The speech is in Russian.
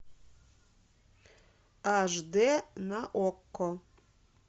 аш д на окко